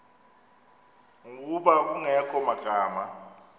ngokuba kungekho magama